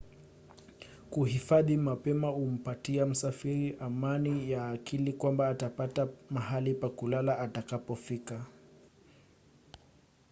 kuhifadhi mapema humpatia msafiri amani ya akili kwamba atapata mahali pa kulala atakapofika